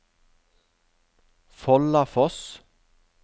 Follafoss